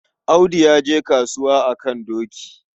Audu ya je kasuwa a kan doki.